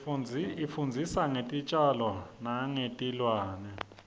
isifundzisa ngetitjalo nengetilwane